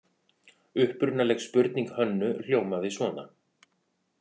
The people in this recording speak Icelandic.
Upprunaleg spurning Hönnu hljómaði svona: